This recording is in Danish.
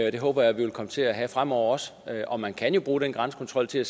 og det håber jeg vi vil komme til at have fremover også og man kan jo bruge den grænsekontrol til at